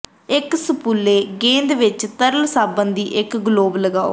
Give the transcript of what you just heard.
ਇੱਕ ਸੂਪਲੇ ਗੇਂਦ ਵਿੱਚ ਤਰਲ ਸਾਬਣ ਦੀ ਇੱਕ ਗਲੋਬ ਲਗਾਓ